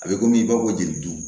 A bɛ komi i b'a fɔ ko jeli